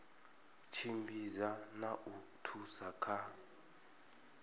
tshimbidza na u thusa kha